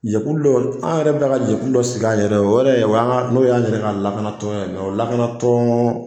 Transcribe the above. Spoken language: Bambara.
Jɛkulu dɔ an yɛrɛ bɛ ka jɛkulu dɔ sigi an yɛrɛw ye, o yɛrɛ o yan ka n'o y'an a yɛrɛ ka lakanatɔn ye o lakanatɔn.